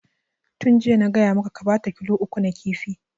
Tun jiya na gaya maka ka bata kilo uku na kifi!